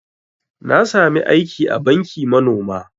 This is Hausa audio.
Na sami aiki a banki manoma